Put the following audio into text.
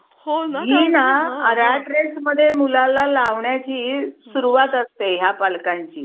Okay, okay, okay ये मग